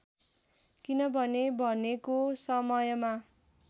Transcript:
किनभने भनेको समयमा